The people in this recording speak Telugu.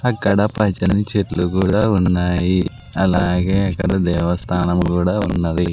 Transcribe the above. అక్కడ పచ్చని చెట్లు గుడ ఉన్నాయి అలాగే అక్కడ దేవస్థానం గుడ ఉన్నది.